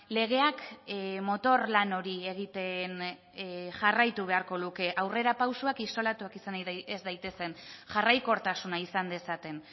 legeak motor lan hori egiten jarraitu beharko luke aurrerapausoak isolatuak izan ez daitezen jarraikortasuna izan dezaten